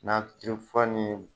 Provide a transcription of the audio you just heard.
Na fura nin